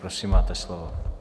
Prosím, máte slovo.